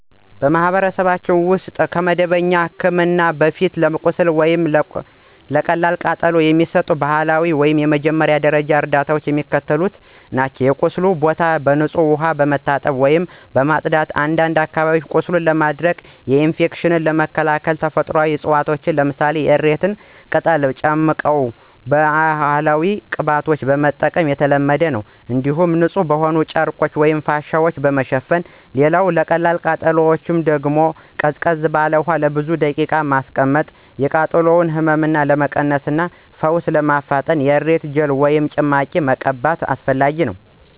በማኅበረሰብ ውስጥ ከመደበኛ ሕክምና በፊት ለቁስል ወይም ለቀላል ቃጠሎ የሚሰጡ ባህላዊ ወይም የመጀመሪያ ደረጃ እርዳታዎች የሚከተሉትን ያካትታሉ የቁስሉን ቦታ በንጹሕ ውሃ መታጠብ ወይም ማጽዳት፣ አንዳንድ አካባቢዎች ቁስልን ለማድረቅና ኢንፌክሽንን ለመከላከል ተፈጥሯዊ ዕፅዋትን ለምሳሌ የእሬት ቅጠል ጭማቂ ወይም ባህላዊ ቅባቶችን መጠቀም የተለመደ ነው። እንዲሁም ንጹሕ በሆነ ጨርቅ ወይም ፋሻ መሸፈን። ሌላው ለቀላል ቃጠሎ ቃጠሎውን ወዲያውኑ ለብዙ ደቂቃዎች በቀዝቃዛ ውሃ ስር ማቆየት፣ የቃጠሎውን ህመም ለመቀነስ እና ፈውስ ለማፋጠን የእሬት ጄል ወይም ጭማቂ መቀባት።